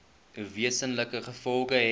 wesenlike gevolge hê